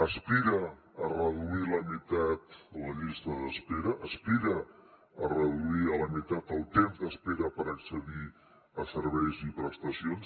aspira a reduir a la meitat la llista d’espera aspira a reduir a la meitat el temps d’espera per accedir a serveis i prestacions